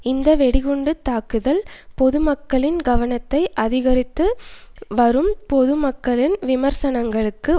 இந்த வெடி குண்டு தாக்குதல்கள் பொது மக்களின் கவனத்தை அதிகரித்து வரும் பொது மக்களின் விமர்சனங்களுக்கு